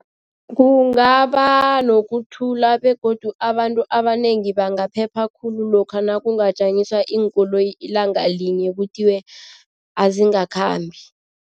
Kungaba nokuthula begodu abantu abanengi bangaphepha khulu lokha nakungajanyiswa iinkoloyi ilanga linye kuthiwe azingakhambi.